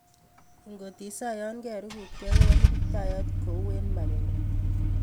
Ikot isa yan kerukutke kowolu kiptayat kou eng magenguk